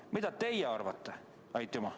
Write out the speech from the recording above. Aga mida teie arvate?